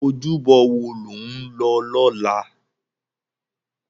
Ójúbò wó ló n lò lòlá?